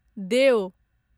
देओ